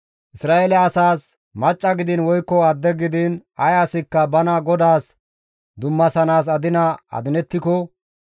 «Isra7eele asaas, ‹Macca gidiin woykko adde gidiin ay asikka bana GODAAS dummasanaas adina adinettiko,